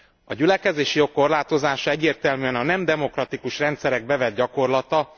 A gyülekezési jog korlátozása egyértelműen a nem demokratikus rendszerek bevett gyakorlata.